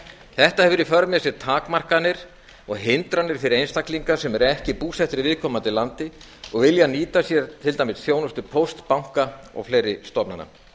þetta hefur í för með sér takmarkanir og hindranir fyrir einstaklinga sem eru ekki búsettir í viðkomandi landi og vilja nýta sér til dæmis þjónustu pósts banka og fleiri stofnana